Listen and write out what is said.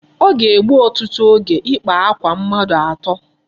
O ga-egbu otutu oge ịkpa akwa mmadụ atọ.